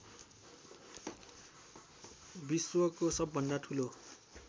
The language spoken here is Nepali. विश्वको सबभन्दा ठुलो